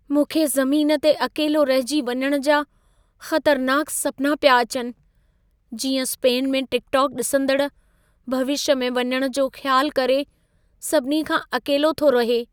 मूंखे ज़मीन ते अकेलो रहिजी वञण जा ख़तरनाक सपना पिया अचनि, जीअं स्पेन में टिकटॉक ॾिसंदड़, भविष्य में वञण जो ख़्यालु करे सभिनी खां अकेलो थो रहे।